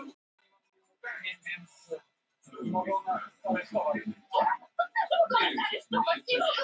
Ég held að við ættum að skrifast á og stappa stálinu hvort í annað.